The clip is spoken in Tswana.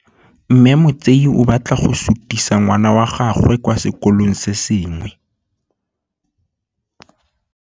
Mme Motsei o batla go sutisa ngwana wa gagwe kwa sekolong se sengwe.